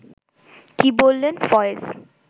কী বললেন ফয়েজ